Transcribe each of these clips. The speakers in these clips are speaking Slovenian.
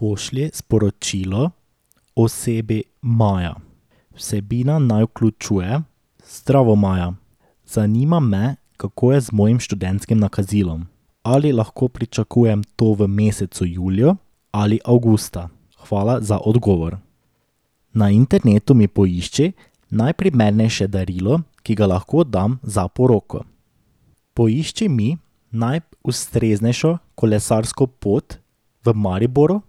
Pošlji sporočilo osebi Maja. Vsebina naj vključuje: Zdravo, Maja. Zanima me, kako je z mojim študentskim nakazilom. Ali lahko pričakujem to v mesecu juliju ali avgusta? Hvala za odgovor. Na internetu mi poišči najprimernejše darilo, ki ga lahko dam za poroko. Poišči mi najustreznejšo kolesarsko pot v Mariboru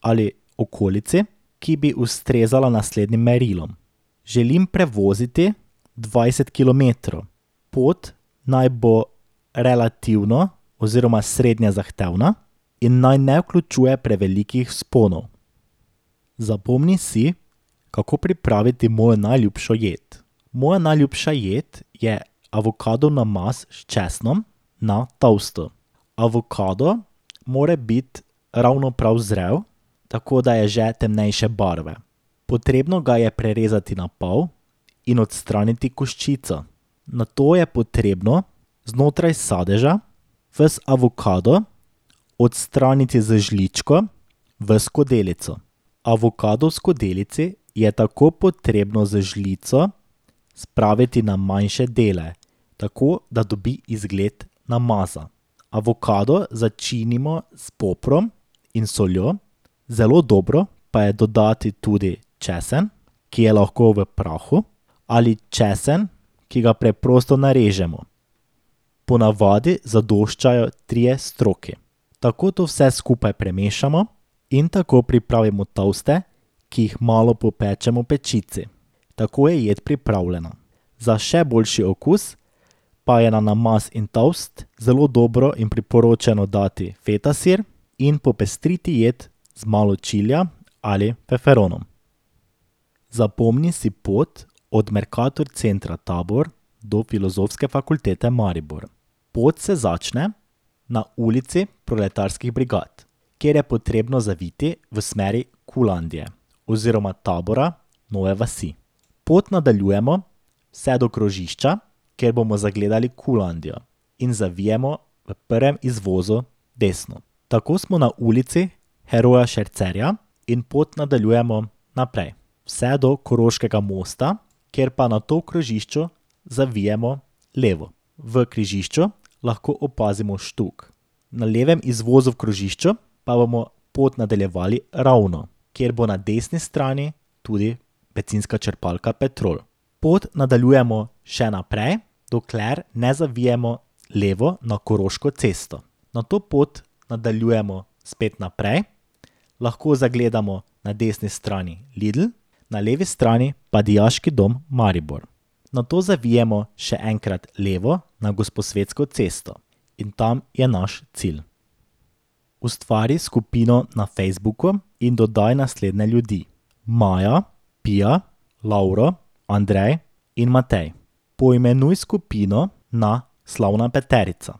ali okolici, ki bi ustrezala naslednjim merilom. Želim prevoziti dvajset kilometrov. Pot naj bo relativno oziroma srednje zahtevna in naj ne vključuje prevelikih vzponov. Zapomni si, kako pripraviti mojo najljubšo jed. Moja najljubša jed je avokadov namaz s česnom na toastu. Avokado mora biti ravno prav zrel, tako da je že temnejše barve. Potrebno ga je prerezati na pol in odstraniti koščico. Nato je potrebno znotraj sadeža ves avokado odstraniti z žličko v skodelico. Avokado v skodelici je tako potrebno z žlico spraviti na manjše dele. Tako da dobi izgled namaza. Avokado začinimo s poprom in soljo, zelo dobro pa je dodati tudi česen, ki je lahko v prahu, ali česen, ki ga preprosto narežemo. Ponavadi zadoščajo trije stroki. Tako to vse skupaj premešamo in tako pripravimo toaste, ki jih malo popečemo v pečici. Tako je jed pripravljena. Za še boljši okus pa je na namaz in toast zelo dobro in priporočeno dati feta sir in popestriti jed z malo čilija ali feferonov. Zapomni si pot od Mercator centra Tabor do Filozofske fakultete Maribor. Pot se začne na Ulici proletarskih brigad, kjer je potrebno zaviti v smeri Qlandie oziroma Tabora, Nove vasi. Pot nadaljujemo vse do krožišča, kjer bomo zagledali Qlandio. In zavijemo v prvem izvozu desno. Tako smo na Ulici heroja Šercerja in pot nadaljujemo naprej vse do Koroškega mosta, kjer pa nato v krožišču zavijemo levo. V križišču lahko opazimo Štuk, na levem izvozu v krožišču pa bomo pot nadaljevali ravno, kjer bo na desni strani tudi bencinska črpalka Petrol. Pot nadaljujemo še naprej, dokler na zavijemo levo na Koroško cesto. Nato pot nadaljujemo spet naprej, lahko zagledamo na desni strani Lidl, na levi strani pa Dijaški dom Maribor. Nato zavijemo še enkrat levo na Gosposvetsko cesto. In tam je naš cilj. Ustvari skupino na Facebooku in dodaj naslednje ljudi. Maja, Pija, Laura, Andrej in Matej. Poimenuj skupino na Slavna peterica.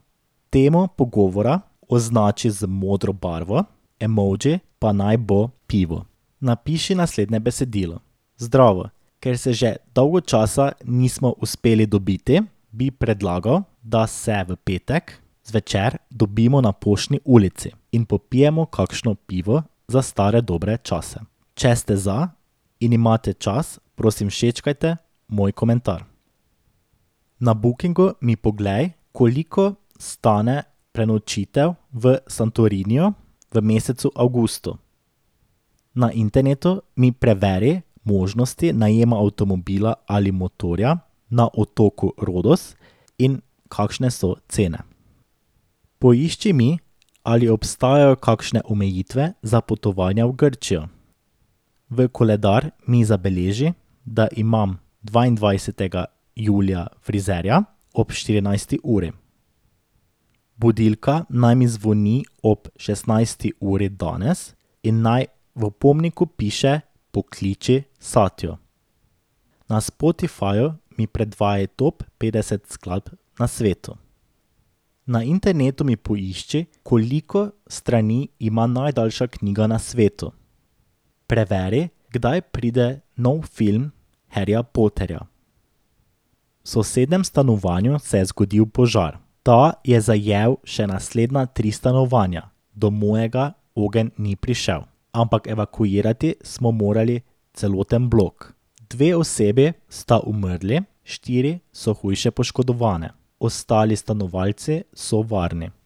Temo pogovora označi z modro barvo, emoji pa naj bo pivo. Napiši naslednje besedilo: Zdravo, ker se že dolgo časa nismo uspeli dobiti, bi predlagal, da se v petek zvečer dobimo na Poštni ulici in popijemo kakšno pivo za stare dobre čase. Če ste za in imate čas, prosim, všečkajte moj komentar. Na Bookingu mi poglej, koliko stane prenočitev v Santoriniju v mesecu avgustu. Na internetu mi preveri možnosti najema avtomobila ali motorja na otoku Rodos in kakšne so cene. Poišči mi, ali obstajajo kakšne omejitve za potovanja v Grčijo. V koledar mi zabeleži, da imam dvaindvajsetega julija frizerja ob štirinajsti uri. Budilka naj mi zvoni ob šestnajsti uri danes in naj v opomniku piše: Pokliči Satjo. Na Spotifyu mi predvajaj top petdeset skladb na svetu. Na internetu mi poišči, koliko strani ima najdaljša knjiga na svetu. Preveri, kdaj pride nov film Harryja Potterja. V sosednjem stanovanju se je zgodil požar. Ta je zajel še naslednja tri stanovanja. Do mojega ogenj ni prišel. Ampak evakuirati smo morali celoten blok. Dve osebi sta umrli, štiri so hujše poškodovane. Ostali stanovalci so varni.